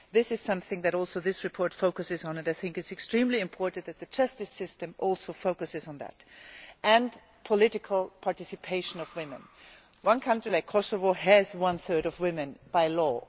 This is something that this report focuses on, and I think it is extremely important that the justice system also focuses on that and on the political participation of women. One country, Kosovo, has one third of women by law.